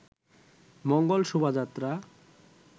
Mangal Shobhajatra